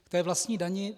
K té vlastní dani.